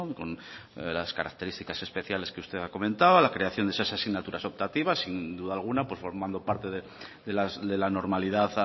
con las características especiales que usted ha comentado la creación de estas asignaturas optativas y sin duda alguna formando parte de la normalidad